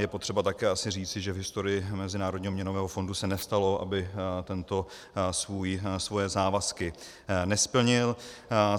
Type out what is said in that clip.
Je potřeba také asi říci, že v historii Mezinárodního měnového fondu se nestalo, aby tento svoje závazky nesplnil.